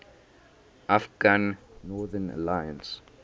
afghan northern alliance